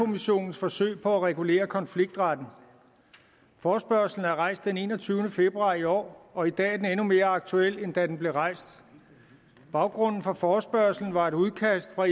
kommissionens forsøg på at regulere konfliktretten forespørgslen blev rejst den enogtyvende februar i år og i dag er den endnu mere aktuel end da den blev rejst baggrunden for forespørgslen var et udkast fra